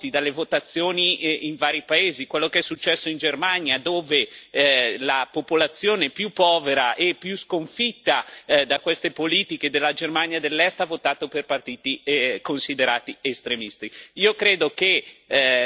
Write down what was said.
La riprova l'abbiamo dalle votazioni in vari paesi è quello che è successo in Germania, dove la popolazione più povera e più sconfitta da queste politiche della Germania dell'Est ha votato per partiti considerati estremisti.